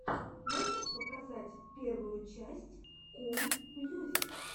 можешь показать первую часть кул мьюзик